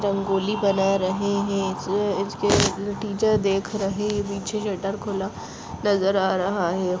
रंगोली बना रहे हैं टीचर देख रहे है पीछे शटर खुला नजर आ रहा है।